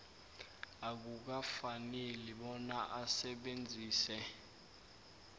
akukafaneli bona asebenzise